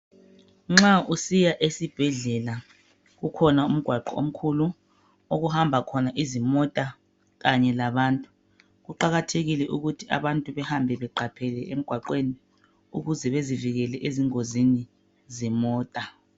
Nxa usiya esibhedlela, ukhona umgwaqo omkhulu okuhamba khona izimota kanye labantu. Kuqakathekile ukuthi abantu behambe beqaphele emgwaqweni ukuze bezivikele ezingozini zemota.